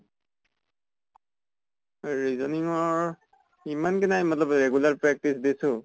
reasoning ৰ ইমান কে নাই hindi regular practice দিছো ।